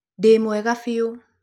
Ndĩ mwega fiũ.